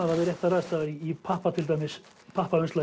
það við réttar aðstæður í